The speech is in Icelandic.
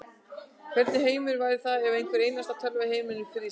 Hvernig heimur væri það ef hvar einasta tölva í heiminum frysi.